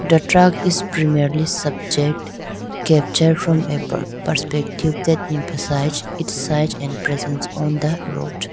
a truck is premierly subject capture from a perspective that emphasize its size and presence on the road.